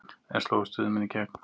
En slógu Stuðmenn í gegn?